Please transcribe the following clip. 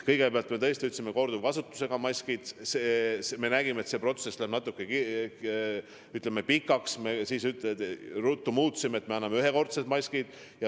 Kõigepealt, me tõesti lubasime korduvkasutusega maske, aga me nägime, et see protsess läheb natuke pikaks, ja ruttu muutsime otsuse selliseks, et me anname ühekordsed maskid.